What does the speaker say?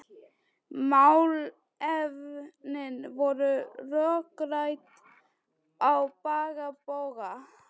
Málefnin voru rökrædd á bága bóga.